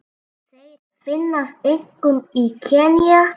Þeir finnast einkum í Kenía.